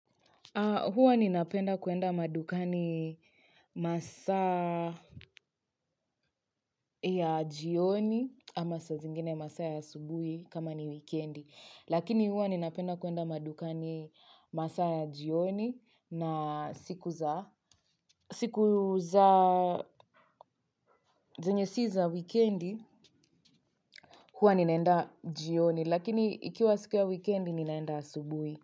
Hwa ni napenda kuenda madukani masa ya jioni ama sa zingine masa ya subuhi kama ni wikendi. Lakini huwa ni napenda kuenda madukani masaa ya jioni na siku za zanyesiza wikendi huwa ninaenda jioni. Lakini ikiwa siku ya wikendi ninaenda subuhi.